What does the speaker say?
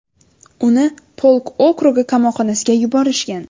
Uni Polk okrugi qamoqxonasiga yuborishgan.